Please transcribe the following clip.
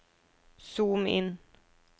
zoom inn